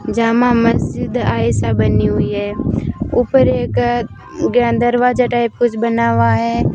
जामा मस्जिद ऐसा बनी हुई है ऊपर एक ज्ञान दरवाजा टाइप कुछ बना हुआ है।